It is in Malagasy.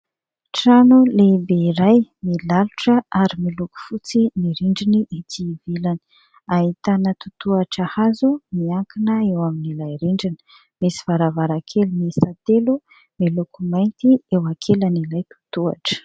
Trano lehibe iray milalotra ary miloko fotsy ny rindriny ety ivelany. Ahitana totohatra hazo miankina eo amin' ilay rindrina. Misy varavarankely miisa telo miloko mainty eo ankilan' ilay totohatra.